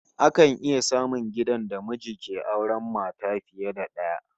Akan iya samun gidan da miji ke auren mata fiye da daya